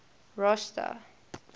rosta